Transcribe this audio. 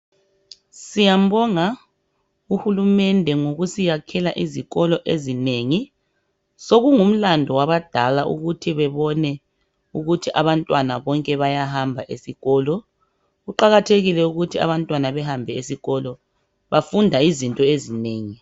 Siyambonga uhulumende ngokusiyakhela izikolo ezinengi sokungulando wabadala ukuthi bebone ukuthi abantwana bonke bayahamba esikolo. Kuqakathekile ukuthi abantwana behanbe esikolo bafunda izinto ezinengi.